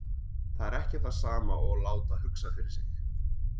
Það er ekki það sama og láta hugsa fyrir sig.